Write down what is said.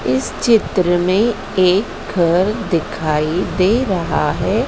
इस चित्र में एक घर दिखाई दे रहा है।